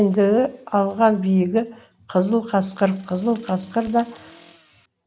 ендігі алған биігі қызыл қасқыр қызыл қасқыр да